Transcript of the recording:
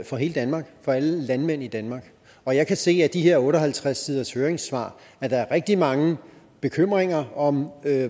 for hele danmark for alle landmænd i danmark og jeg kan se af de her otte og halvtreds siders høringssvar at der er rigtig mange bekymringer om